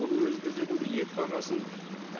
бұл өз кезегінде ет бағасын